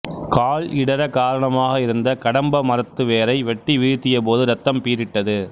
கால் இடறக் காரணமாக இருந்த கடம்ப மரத்து வேரை வெட்டி வீழ்த்திய போது ரத்தம் பீறிட்டது